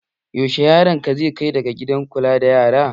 Yaushe yaron ka zai dawo daga gidan kula da yara?